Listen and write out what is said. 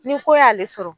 Ni ko y'ale sɔrɔ